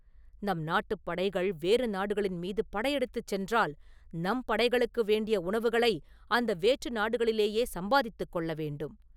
நம் நாட்டுப் படைகள் வேறு நாடுகளின் மீது படை எடுத்துச் சென்றால், நம் படைகளுக்கு வேண்டிய உணவுகளை அந்த வேற்று நாடுகளிலேயே சம்பாதித்துக் கொள்ள வேண்டும்.